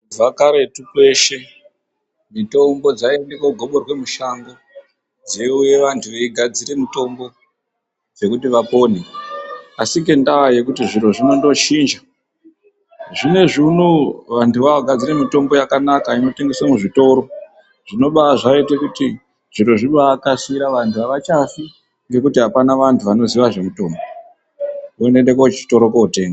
Kubva karetu peshe mitombo dzaiyende kogoborwa mushango dzouya vantu veigadzire mitombo dzekuti vapone. Asi ngeda yekuti zviro zviri kundochinja, zvinezvi unowu vantu vakugadzire mitombo inotengeswa muzvitoro zvibaita kuti zviro zvibakasira. Vantu avachafi kuti apana vantu vanoziya zvemutombo ngekuti unoenda kotenga.